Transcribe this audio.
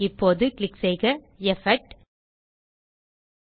இப்போது கிளிக் செய்க எஃபெக்ட் ஜிடிஜிடி